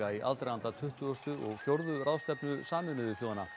í aðdraganda tuttugustu og fjórðu ráðstefnu Sameinuðu þjóðanna